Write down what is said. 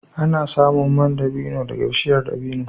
Ana samun man dabino daga bishiyar dabino